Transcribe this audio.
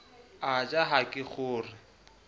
a ja ha ke kgore